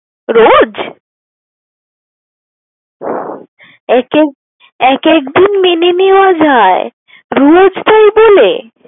রোজ? এক এক এক একদিন মেনে নেয়া যায়, রোজ তাই বলে?